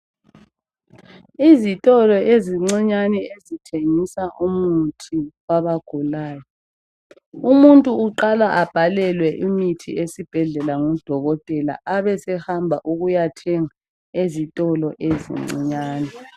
Izitolo ezincinyane ezithengisa umuthi wabagulayo. Umuntu uqala abhalelwe imithi esibhedlela ngudokotela, abesehamba ukuyathenga ezitolo ezincinyane.